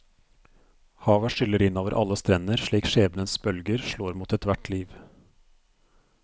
Havet skyller inn over alle strender slik skjebnens bølger slår mot ethvert liv.